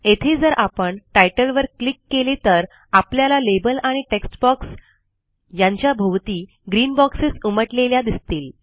येथे जर आपण तितले वर क्लिक केले तर आपल्याला लाबेल आणि टेक्स्ट बॉक्स यांच्या भोवती ग्रीन बॉक्सेस उमटलेल्या दिसतील